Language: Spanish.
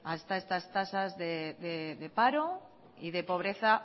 hasta estas tasas de paro y de pobreza